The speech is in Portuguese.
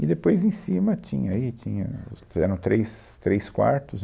E depois em cima tinha, aí tinha, os eram três três quartos.